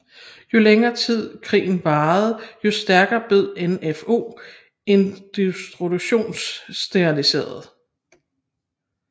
Jo længere krigen varede jo stærkere blev NfO institutionaliseret